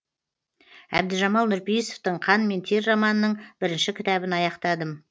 әбдіжамал нұрпейісовтың қан мен тер романының бірінші кітабын аяқтадым